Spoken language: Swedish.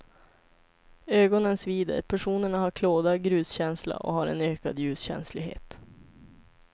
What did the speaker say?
Ögonen svider, personerna har klåda, gruskänsla och har en ökad ljuskänslighet.